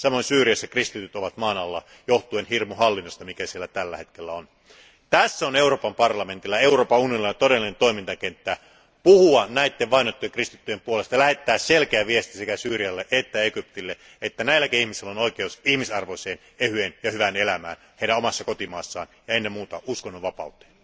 Samoin Syyriassa kristityt ovat maan alla johtuen siitä hirmuhallinnosta, mikä siellä tällä hetkellä on. Tässä on Euroopan parlamentilla ja Euroopan unionilla todellinen toimintakenttä puhua näiden kristittyjen puolesta ja lähettää selkeä viesti sekä Syyrialle että Egyptille että näilläkin ihmisillä on oikeus ihmisarvoiseen, ehyeen ja hyvään elämään heidän omassa kotimaassaan ja ennen muuta uskonnonvapauteen.